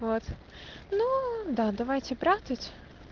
вот ну да давайте прятать